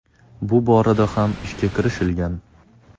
Bu borada ham ishga kirishilgan.